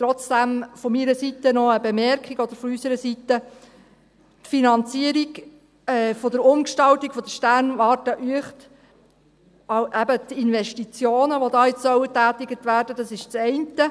Trotzdem von unserer Seite noch eine Bemerkung: Die Finanzierung der Umgestaltung der Sternwarte Uecht, eben auch die Investitionen, die da getätigt werden sollen, das ist das eine.